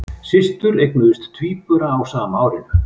Systur eignuðust tvíbura á sama árinu